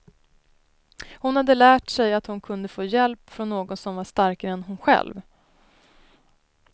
Hon hade lärt sig, att hon kunde få hjälp från någon som var starkare än hon själv.